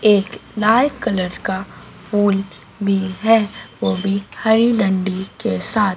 एक light colour का फूल भी है वो भी हरी डंडी के साथ--